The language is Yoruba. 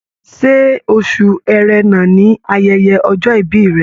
Ṣe oṣù Ẹrẹ̀nà ni ayẹyẹ ọjọ́-ìbí rẹ̀?